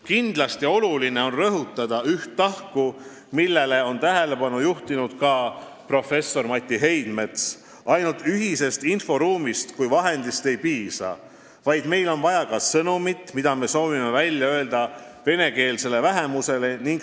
Kindlasti on oluline rõhutada üht tahku, millele on tähelepanu juhtinud ka professor Mati Heidmets: ainult ühisest inforuumist kui vahendist ei piisa, meil on vaja ka sõnumit, mida me soovime venekeelsele vähemusele välja öelda.